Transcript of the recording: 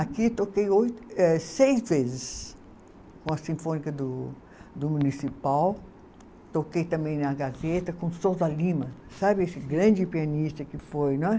Aqui toquei oito, eh seis vezes com a Sinfônica do do Municipal, toquei também na Gazeta com Sousa Lima, sabe esse grande pianista que foi, não é?